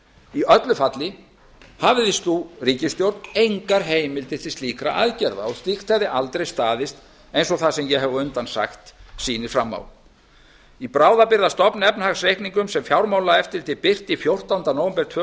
í öllu falli hafði sú ríkisstjórn engar heimildir til slíkra aðgerða og slíkt hefði aldrei staðist eins og það sem ég hef á undan sagt sýnir fram á í bráðabirgðastofnefnahagsreikningum sem fjármálaeftirlitið birti fjórtánda nóvember tvö